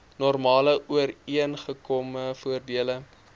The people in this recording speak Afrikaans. normale ooreengekome voordele